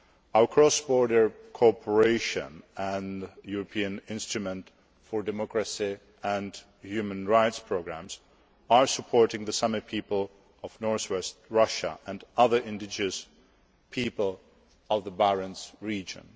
Our cross border cooperation and European instrument for democracy and human rights programmes are supporting the Sami people of north west Russia and other indigenous peoples of the Barents region.